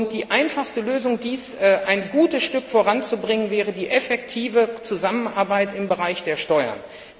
Die einfachste Lösung, um dies ein gutes Stück voranzubringen, wäre die effektive Zusammenarbeit im Bereich der Steuern.